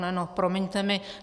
No promiňte mi.